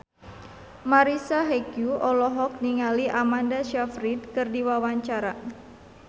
Marisa Haque olohok ningali Amanda Sayfried keur diwawancara